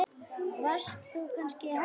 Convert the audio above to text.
Varst þú kannski hæstur?